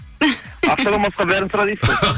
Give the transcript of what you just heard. ақшадан басқа бәрін сұра дейсіз ғой